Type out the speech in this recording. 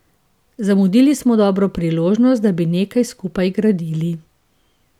Zamudili smo dobro priložnost, da bi nekaj skupaj gradili.